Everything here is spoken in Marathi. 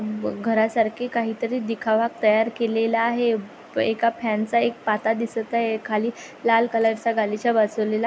ब घरासारखे काहीतरी दिखावा तयार केलेला आहे अ एका फॅन चा एक पाता दिसत आहे खाली लाल कलर चा गालीचा बसवलेला --